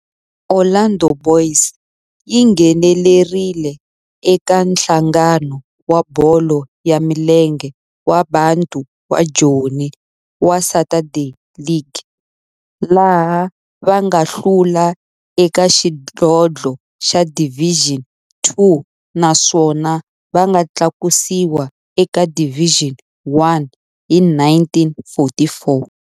Orlando Boys yi nghenelerile eka Nhlangano wa Bolo ya Milenge wa Bantu wa Joni wa Saturday League, laha va nga hlula eka xidlodlo xa Division Two naswona va nga tlakusiwa eka Division One hi 1944.